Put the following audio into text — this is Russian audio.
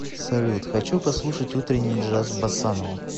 салют хочу послушать утренний джаз босанова